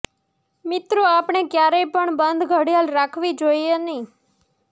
મિત્રો આપણે ક્યારેય પણ બંધ ઘડિયાળ રાખવી જોઈએ નહિ